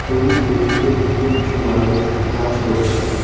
ছবির পেছনের দিকে কিছু মানুষ কাজ করছে।